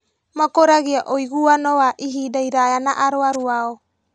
Makũragia ũiguano wa ihinda iraya na arwaru ao